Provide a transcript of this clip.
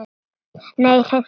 Nei, hreint ekki.